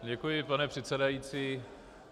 Děkuji, pane předsedající.